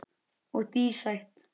Og dísætt.